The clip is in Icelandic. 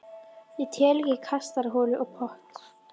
Ég tel ekki kastarholu og pott.